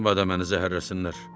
Məbada məni zəhərləsinlər.